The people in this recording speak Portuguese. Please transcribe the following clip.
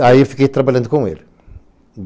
Aí eu fiquei trabalhando com ele.